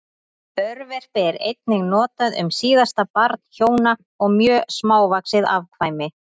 Örverpi er einnig notað um síðasta barn hjóna og mjög smávaxið afkvæmi.